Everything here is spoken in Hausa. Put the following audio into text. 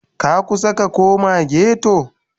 Ka kusa ka koma ghetto?